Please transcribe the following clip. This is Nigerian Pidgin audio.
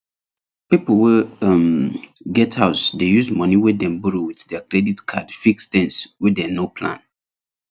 people wey um get house dey use money wey dem borrow with their credit card fix things wey dem no plan